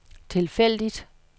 tilfældigt